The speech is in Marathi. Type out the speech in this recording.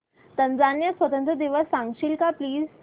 टांझानिया स्वतंत्रता दिवस सांगशील का प्लीज